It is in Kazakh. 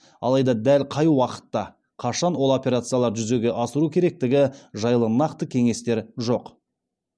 алайда дәл қай уақытта қашан ол операцияларды жүзеге асыру керектігі жайлы нақты кеңестер жоқ